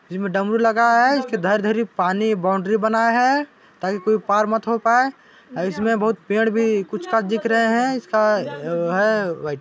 इसमें डमरू लगा है इसकी धर धर पानी बाउंड्री बना है ताकि कोई पार मत हो पाए इसमें बहुत पेड़ भी कुछ दिख रहे है इसका है व्हाइट ।